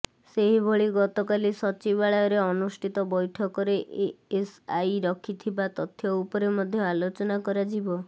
ସେହିଭଳି ଗତକାଲି ସଚିବାଳୟରେ ଅନୁଷ୍ଠିତ ବୈଠକରେ ଏଏସଆଇ ରଖିଥିବା ତଥ୍ୟ ଉପରେ ମଧ୍ୟ ଆଲୋଚନା କରାଯିବ